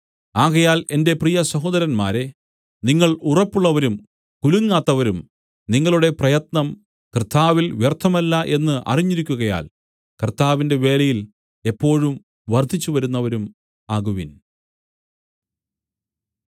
ആകയാൽ എന്റെ പ്രിയ സഹോദരന്മാരേ നിങ്ങൾ ഉറപ്പുള്ളവരും കുലുങ്ങാത്തവരും നിങ്ങളുടെ പ്രയത്നം കർത്താവിൽ വ്യർത്ഥമല്ല എന്ന് അറിഞ്ഞിരിക്കുകയാൽ കർത്താവിന്റെ വേലയിൽ എപ്പോഴും വർദ്ധിച്ചുവരുന്നവരും ആകുവിൻ